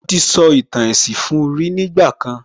Mo ti sọ ìtàn èsìn fun ní ìgbà kan